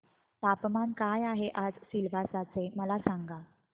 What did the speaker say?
तापमान काय आहे आज सिलवासा चे मला सांगा